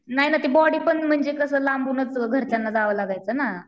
नाही ना ते बॉडी पण म्हणजे कसं लांबूनच घरच्यांना दावायला लागायचं ना.